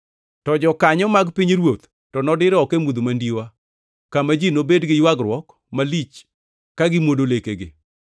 To jokanyo mag pinyruoth to nodir oko e mudho mandiwa, kama ji nobed gi ywagruok malich ka gimwodo lekegi.”